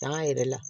An yɛrɛ la